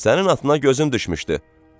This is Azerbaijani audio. Sənin atına gözüm düşmüşdü.